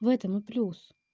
в этом ну плюс